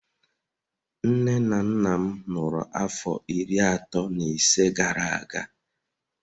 Nne na nna m lụrụ afọ iri atọ na ise gara aga